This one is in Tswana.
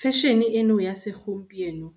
Fashion-e eno ya se gompieno